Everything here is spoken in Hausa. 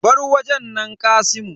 Bar wajen nan kasimu.